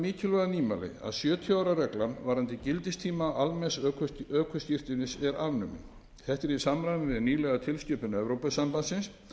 nýmæli að sjötíu ára reglan varðandi gildistíma almenns ökuskírteinis er afnumin þetta er í samræmi við nýlega tilskipun evrópusambandsins